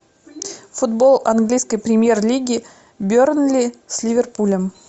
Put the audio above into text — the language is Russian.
футбол английской премьер лиги бернли с ливерпулем